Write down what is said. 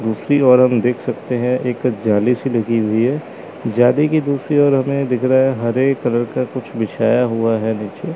दूसरी ओर हम देख सकते हैं एक जाली सी लगी हुई है जाली की दूसरी ओर हमें दिख रहा है हरे कलर का कुछ बिछाया हुआ है नीचे--